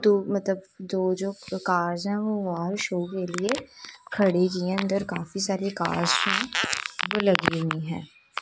तो मतलब जो जो कार्स हैं वो बाहर शो के लिए खड़ी की हैं अंदर काफी सारी कार्स जो हैं वो लगी हुई हैं।